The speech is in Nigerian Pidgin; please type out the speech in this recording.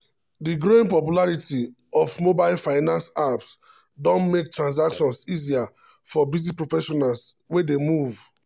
di growing popularity of mobile finance apps don make transactions easier for busy professionals wey dey move.